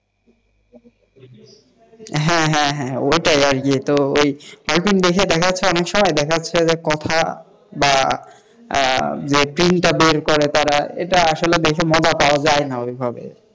হ্যাঁ, হ্যাঁ হ্যাঁ তো ওটাই আরকিতো hall print দেখার সময় দেখা যাচ্ছে যে কথা বা জে print বের করে তারা এটা আসলে দেখে মজা পাওয়া যায় না ওইভাবে,